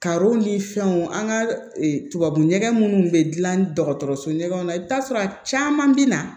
ni fɛnw an ka tubabu ɲɔgɔ munnu bɛ dilan dɔgɔtɔrɔso ɲɛgɛnw na i bɛ taa sɔrɔ a caman bɛ na